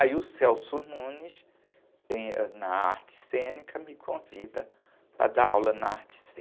Aí o, tem, ãh, na arte cênica, me convida para dar aula na arte cênica.